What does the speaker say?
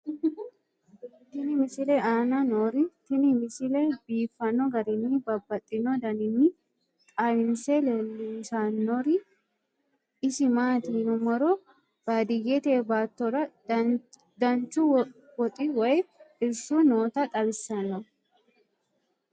tenne misile aana noorina tini misile biiffanno garinni babaxxinno daniinni xawisse leelishanori isi maati yinummoro baadiyeette baattora danchu woxi woy irishu nootta xawissanno